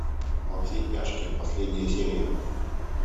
во все тяжкие последняя серия